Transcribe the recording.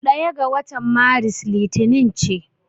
Ɗaya ga watan Maris Litinin ce.